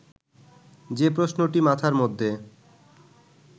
যে প্রশ্নটি মাথার মধ্যে